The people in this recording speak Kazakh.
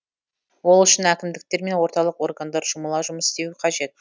ол үшін әкімдіктер мен орталық органдар жұмыла жұмыс істеуі қажет